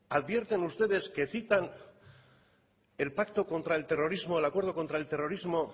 advierten ustedes que citan el pacto contra el terrorismo el acuerdo contra el terrorismo